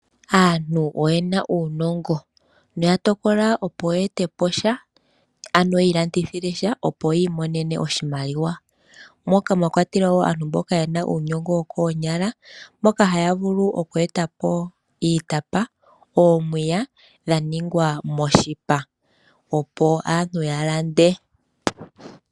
Aantu oye na uunongo noya tokola opo ye etepo sha ano yiilandithile sha opo yiimonene oshimaliwa moka mwa kwatelwa wo aantu mboka ye na uunongo wokoonyala moka haya vulu okweetapo iitapa noomwiya dha ningwa moshipa opo aantu ya lande.